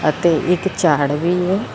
ਤੇ ਇੱਕ ਝਾੜ ਵੀ ਏ।